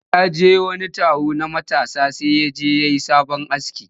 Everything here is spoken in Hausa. Zai je wani taro na matasa sai ya je ya yi sabo aski